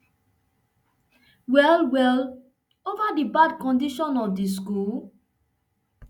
well well over di bad condition of di school